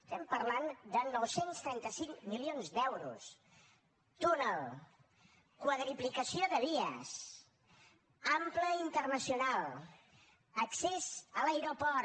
estem parlant de nou cents i trenta cinc milions d’euros túnel quadruplicació de vies ample internacional accés a l’aeroport